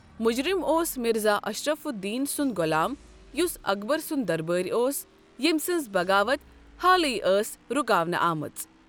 مجرم اوس مرزا اشرف الدین سنٛد غۄلام یس اکبر سنٛد دربٲرۍ اوس یٔیمۍ سنٛز بغاوت حالٕے ٲس رکاونہٕ آمٕژ۔